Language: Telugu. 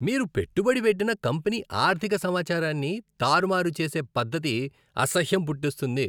మీరు పెట్టుబడి పెట్టిన కంపెనీ ఆర్థిక సమాచారాన్ని తారుమారు చేసే పద్ధతి అసహ్యం పుట్టిస్తుంది.